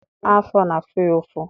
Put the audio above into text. Afọ na-afụ ya ụfụ.